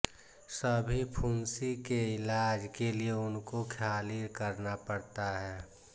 सभी फुंसी के ईलाज के लिए उनको ख़ाली करना पड़ता है